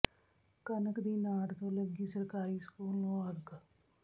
੍ਹਕਣਕ ਦੀ ਨਾੜ ਤੋਂ ਲੱਗੀ ਸਰਕਾਰੀ ਸਕੂਲ ਨੂੰ ਅੱਗ